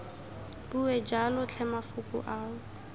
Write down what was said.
bue jalo tlhe mafoko ao